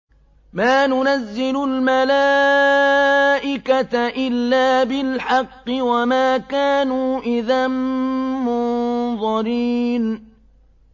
مَا نُنَزِّلُ الْمَلَائِكَةَ إِلَّا بِالْحَقِّ وَمَا كَانُوا إِذًا مُّنظَرِينَ